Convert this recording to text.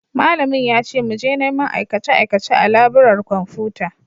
Malamin ya ce mu je neman aikace-aikace a laburar kwamfuta.